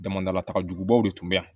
Damadalataga jugubaw de tun bɛ yan